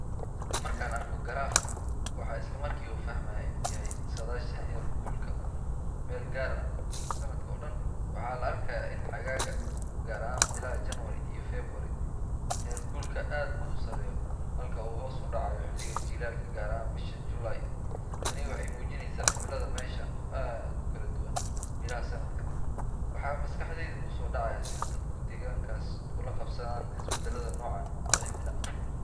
Marka aan arko garaafkan, waxaan isla markiiba fahmayaa in uu yahay saadaasha heerkulka meel gaar ah sanadka oo dhan. Waxaa la arkayaa in xagaaga, gaar ahaan bilaha January iyo February, heerkulku aad u sarreeyo halka uu hoos u dhacayo xilliga jiilaalka, gaar ahaan bisha July. Tani waxay muujinaysaa cimilada meeshan oo aad u kala duwan bilaha sanadka. Waxaa maskaxdayda ku soo dhacaya sida dadka deegaankaasi u la qabsadaan isbedbedelka noocan ah ee cimilo.